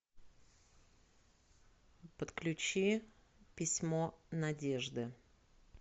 подключи письмо надежды